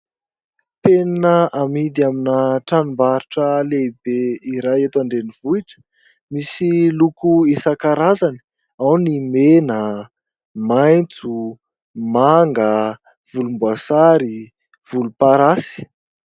Penina amidy amin'ny tranombarotra lehibe iray eto an-drenivohitra, misy loko isan-karazany: ao ny mena, maintso, manga, volom-boasary, volom-parasy.